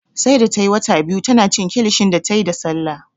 Sai da tayi wata biyu tana cin kilishi da tayi da Sallah